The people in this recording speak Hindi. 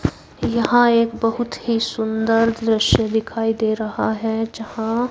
यहां एक बहुत ही सुंदर दृश्य दिखाई दे रहा है। जहां--